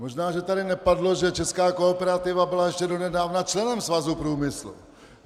Možná že tady nepadlo, že česká Kooperativa byla ještě donedávna členem Svazu průmyslu.